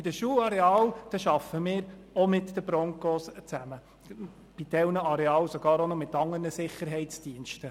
In den Schularealen arbeiten wir auch mit den Broncos zusammen und bei einigen Arealen teilweise auch noch mit anderen Sicherheitsdiensten.